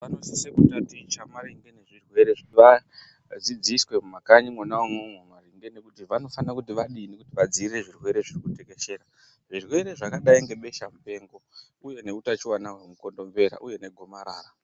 ....vanoosise kutaticha maringe ngezvirwere zvowanda. Vadzidziswe mumakanyi mwona imwomwo kuti vanofana kuti vadini, vadzivirire zvirwere zvatekeshera. Zvirwere zvakadai nebeshamupengo uye neutachiwana hwemukondombera uye negomarara.